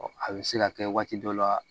A bɛ se ka kɛ waati dɔ la